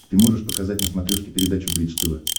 ты можешь показать на смотрешке передачу бридж тв